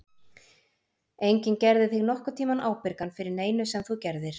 Enginn gerði þig nokkurn tímann ábyrgan fyrir neinu sem þú gerðir.